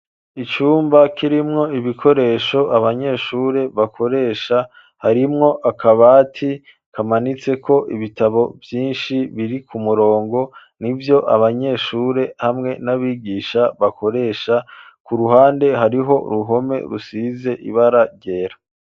Icumba, kirimwo ibikoresho, abanyeshure bakoresha, harimwo akabati, kamanitseko ibitabo vyinshi, biri ku murongo; ni vyo abanyeshure, hamwe n'abigisha bakoresha; ku ruhande, hariho uruhome, rusize ibara ryera.